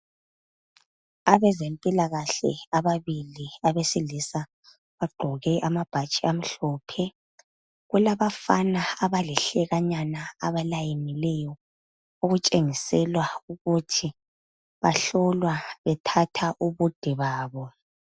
Abezempilakahle ababili abesilisa bagqoke amabhatshi amhlophe kulabafana abalihlekanyana abafolileyo okutshengisela ukuthi bahlolwa bethathwa ubude babo.